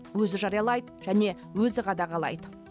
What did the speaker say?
өзі жариялайды және өзі қадағалайды